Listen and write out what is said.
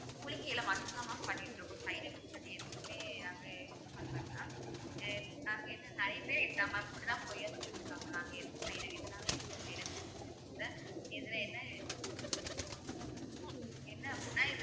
மூலிகையில மட்டும்தான் mam பண்ணிட்டிருக்கோம் side effects பத்தி எதுவுமே அது use பண்ணல mam இதுதான் mam இப்படித்தான் பொய்யா சொல்லிட்டுருக்காங்க mam நாங்க எதுவும் side e~ இதனால எதும் side effects இல்ல இதுல என்ன என்ன அப்படின்னா இதுல